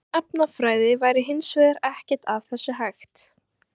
Án efnafræði væri hins vegar ekkert af þessu hægt.